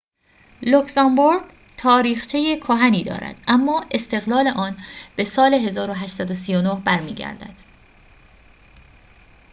لوکزامبورگ تاریخچه کهنی دارد اما استقلال آن به سال ۱۸۳۹ برمی‌گردد